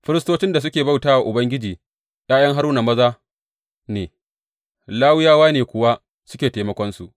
Firistocin da suke bauta wa Ubangiji ’ya’yan Haruna maza ne, Lawiyawa ne kuwa suke taimakonsu.